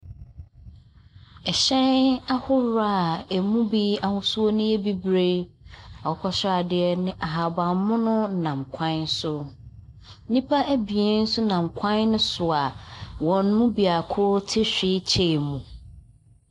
Ɛhyɛn ahorow a emu bi ahosuo no yɛ bibire, akokɔsradeɛ ne ahabanmono nam kwan so. Nnipa abien so nam kwan no so a wɔn mu baako te hwilkyɛɛ mu.